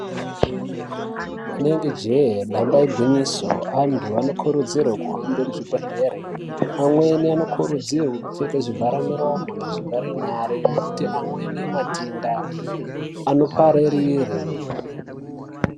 Rinenge jee damba igwinyiso antu anokurudzirwe kuhambe muzvibhehlere, amweni anokurudzirwe kupfeke zvivhare miromo nezvivhare nyare nekuti amweni matenda anopararire.